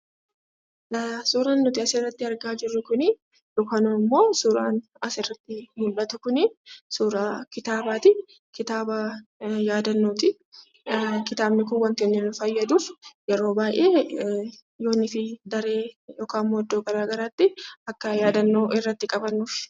Suuraan nuti asirratti argaa jirru kunii yookaan ammoo suuraan asirratti mul'atu kunii, suuraa kitaabaatii, kitaaba yaadannootii kitaabni kun wantootni nu fayyaduuf yeroo baayyee yoo nuti daree yookiin ammoo iddoo garagaraatti akka yaadannoo irratti qabannuufi.